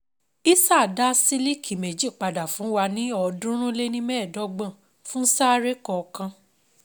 Hisar dá sílíkì méjì padà fún wa ní ọ̀ọ́dúnrún-lé-ní-mẹ́ẹ̀dọ́gbọ̀n fún saree kọ̀ọ̀kan.